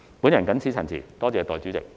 我謹此陳辭，多謝代理主席。